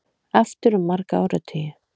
Aftur um marga áratugi